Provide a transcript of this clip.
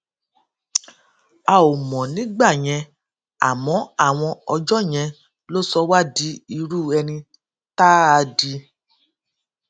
a ò mọ nígbà yẹn àmọ àwọn ọjó yẹn ló sọ wá di irú ẹni tá a di